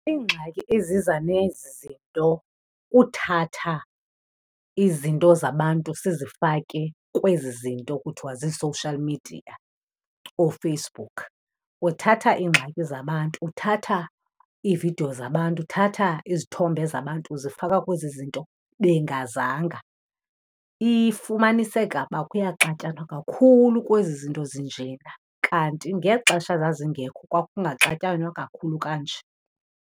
Iingxaki eziza nezi zinto kuthatha izinto zabantu sizifake kwezi zinto kuthwa zii-social media, ooFacebook. Uthatha iingxaki zabantu, uthatha iividiyo zabantu, uthatha izithombe zabantu uzifaka kwezi zinto bengazanga. Ifumaniseka uba kuyaxatyanwa kakhulu kwezi zinto zinjena kanti ngexesha zazingekho kwakungaxatyanwa kakhulu kanje.